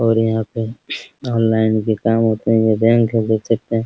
और यहाँ पे ऑनलाइन भी काम होते है ये बैंक है देख सकते हैं ।